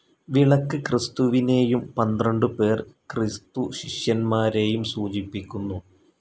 വിളക്ക് ക്രിസ്തുവിനേയും പന്ത്രണ്ടുപേർ ക്രിസ്തുശിഷ്യന്മാരേയും സൂചിപ്പിക്കുന്നു.